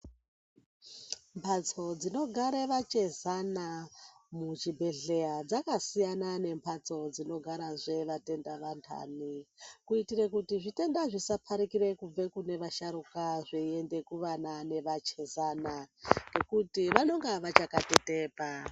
Mbatso dzinogara vachezana muchibhedhlera dzakasiyana nembatso dzinogarazve vatenda vandani kuitire kuti zvitenda zvisaparikire kubva kune washarukwa zveinda kuvana nevachezana ngekuti vanonga vakachatetepa.